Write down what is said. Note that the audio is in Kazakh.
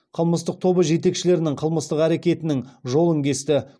қылмыстық тобы жетекшілерінің қылмыстық әрекетінің жолын кесті